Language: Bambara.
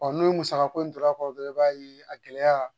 n'o musakako in tora a kɔrɔ dɔrɔn i b'a ye a gɛlɛya